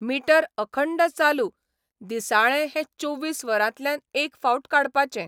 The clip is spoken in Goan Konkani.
मिटर अखंड चालू दिसाळें हैं चोवीस वरांतल्यान एक फावट काडपाचें.